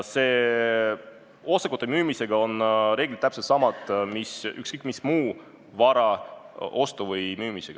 Osakute müümisel on reeglid täpselt samad, nagu ükskõik millise muu vara ostmisel või müümisel.